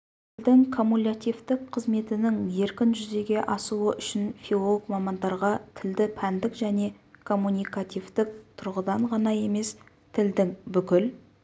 тілдің куммулятивтік қызметінің еркін жүзеге асуы үшін филолог мамандарға тілді пәндік және коммуникативтік тұрғыдан ғана емес тілдің бүкіл